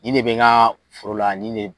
Nin de be n ka foro la ni de